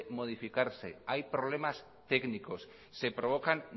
modificarse hay problemas técnicos se provocan